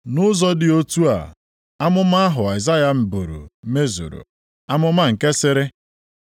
Nʼụzọ dị otu a, amụma ahụ Aịzaya buru mezuru. Amụma nke sịrị,